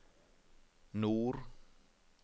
nord